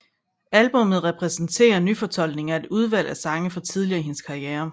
Albummet præsenterer nyfortolkninger af et udvalg af sange fra tidligere i hendes karriere